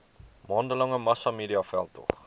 maande lange massamediaveldtog